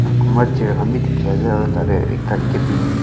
kumba chair khan b dikhi ase aro tade ekta cabin --